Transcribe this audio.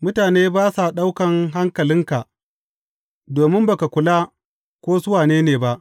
Mutane ba sa ɗaukan hankalinka, domin ba ka kula ko su wane ne ba.